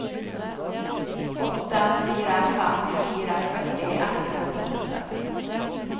åtte fire fem fire førti ett hundre og trettiåtte